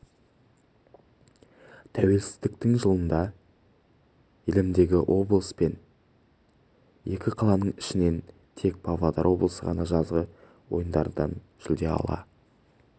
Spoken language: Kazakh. тәуелсіздіктің жылында елімідегі облыс пен екі қаланың ішінен тек павлодар облысы ғана жазғы ойындардан жүлде ала